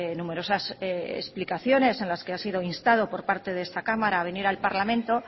numerosas explicaciones en las que ha sido instado por parte de esta cámara a venir al parlamento